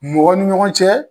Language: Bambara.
Mɔgɔ ni ɲɔgɔn cɛ